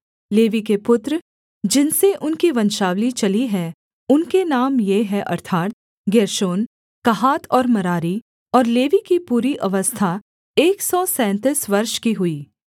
levy के पुत्र जिनसे उनकी वंशावली चली है उनके नाम ये हैं अर्थात् गेर्शोन कहात और मरारी और लेवी की पूरी अवस्था एक सौ सैंतीस वर्ष की हुई